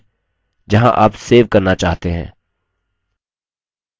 पहले के अनुसार स्थान का चुनाव कर लें जहाँ आप सेव करना चाहते हैं